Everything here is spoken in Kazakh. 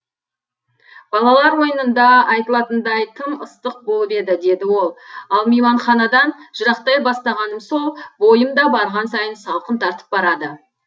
балалар ойынында айтылатындай тым ыстық болып еді деді ол ал мейманханадан жырақтай бастағаным сол бойым да барған сайын салқын тартып барады